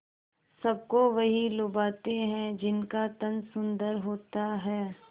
सबको वही लुभाते हैं जिनका तन सुंदर होता है